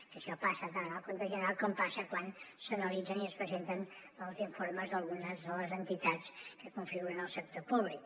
que això passa tant en el compte general com passa quan s’analitzen i es presenten els informes d’algunes de les entitats que configuren el sector públic